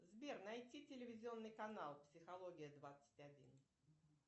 сбер найти телевизионный канал психология двадцать один